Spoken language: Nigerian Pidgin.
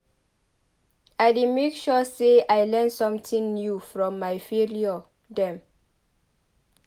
I dey make sure sey I learn sometin new from my failure dem.